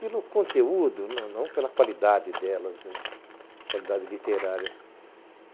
Pelo conteúdo, não pela qualidade delas, né, qualidade literária.